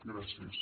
gràcies